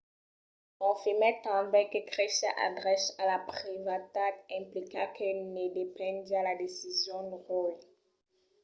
confirmèt tanben que cresiá al drech a la privacitat implicita que ne dependiá la decision roe